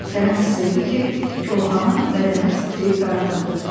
Kərəm hiss etdi ki, koxanın bədəni titrəyib dartındı.